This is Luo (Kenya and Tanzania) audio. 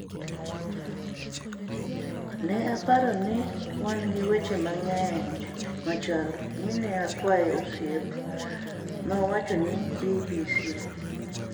"Ne aparo ni wan gi weche mang'eny machal mi ne a kwaye osiep," nowacho ni BBC.